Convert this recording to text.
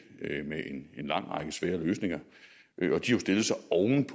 med en lang række svære løsninger